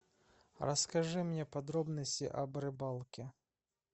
расскажи мне подробности об рыбалке